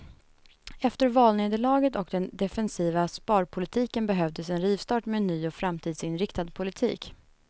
Efter valnederlaget och den defensiva sparpolitiken behövdes en rivstart med en ny och framtidsinriktad politik.